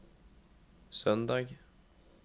søndag